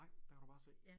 Nej der kan du bare se